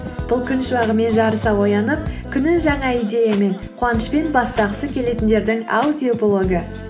бұл күн шуағымен жарыса оянып күнін жаңа идеямен қуанышпен бастағысы келетіндердің аудиоблогы